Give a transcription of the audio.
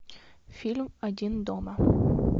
фильм один дома